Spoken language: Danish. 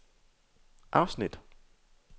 afsnit